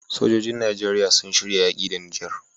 Sojojin nigeria sun shirya yaki da niger